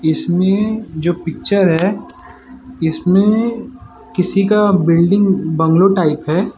इसमें जो पिक्चर है इसमें किसी का बिल्डिंग बंगलो टाइप है।